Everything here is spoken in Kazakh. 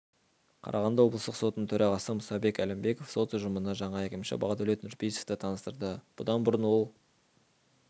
қарағанды облыстық сотының төрағасы мұсабек әлімбеков сот ұжымына жаңа әкімші бақдәулет нүрпейісовті таныстырды бұдан бұрын ол